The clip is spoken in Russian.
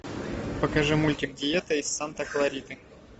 покажи мультик диета из санта клариты